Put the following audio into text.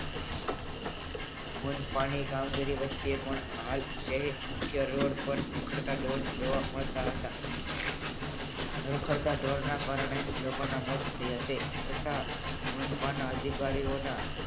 મનપાની કામગીરી વચ્ચે પણ હાલ શહેર મુખ્ય રોડ પર રખડતા ઢોર જોવા મળતા હતા. રખડતા ઢોરના કારણે લોકોના મોત થયા છે. છતાં મનપાના અધિકારીઓના